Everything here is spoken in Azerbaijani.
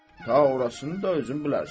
Ta orasın da özün bilərsən.